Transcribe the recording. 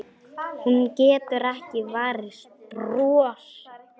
Hún getur ekki varist brosi.